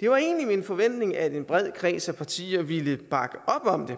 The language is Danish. det var egentlig min forventning at en bred kreds af partier ville bakke op om